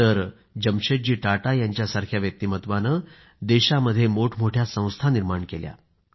तर जमशेदजी टाटा यांच्यासारख्या व्यक्तिमत्वाने देशामध्ये मोठमोठ्या संस्था निर्माण केल्या